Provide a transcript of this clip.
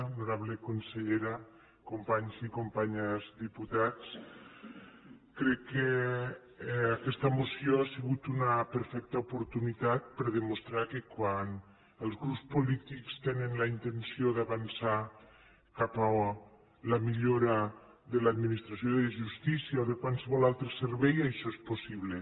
honorable consellera companys i companyes diputats crec que aquesta moció ha sigut una perfecta oportunitat per a demostrar que quan els grups polítics tenen la intenció d’avançar cap a la millora de l’administració de justícia o de qualsevol altre servei això és possible